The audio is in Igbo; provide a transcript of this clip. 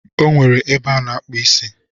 Ọ nwere ebe a na-akpụ isi